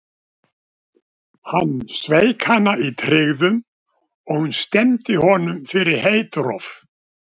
Hann sveik hana í tryggðum, og hún stefndi honum fyrir heitrof.